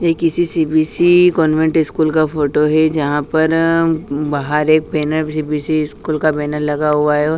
यह किसी C B C convent school का फोटो है यहाँ पर अ बाहर एक बैनर सी_बी_सी स्कूल का बैनर लगा हुआ है ओ--